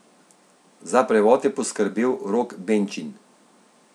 Za prevod je poskrbel Rok Benčin.